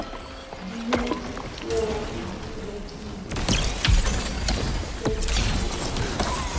diyuniti teeo o di rekileng